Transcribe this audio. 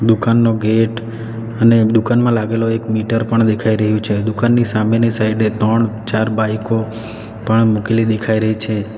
દુકાનનો gate અને દુકાનમાં લાગેલો એક મીટર પણ દેખાઈ રહ્યું છે દુકાનની સામેની સાઈડ એ ત્રણ ચાર બાઈકો પણ મૂકેલી દેખાય રહી છે.